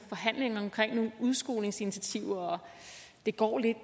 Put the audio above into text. forhandlinger omkring nogle udskolingsinitiativer det går lidt